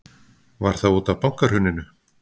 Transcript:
Var það útaf bankahruninu?